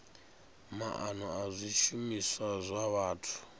maana a zwishumiswa zwa vhathu